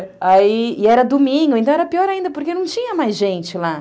Aí, e era domingo, então era pior ainda, porque não tinha mais gente lá.